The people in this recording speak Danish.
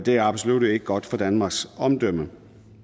er absolut ikke godt for danmarks omdømme